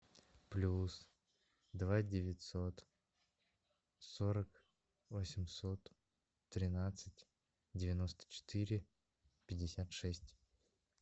плюс два девятьсот сорок восемьсот тринадцать девяносто четыре пятьдесят шесть